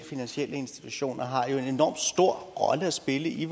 finansielle institutioner har jo en enorm stor rolle at spille i